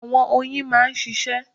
Àwọn oyin a máa ṣíṣe